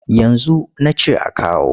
Yanzu na ce a kawo.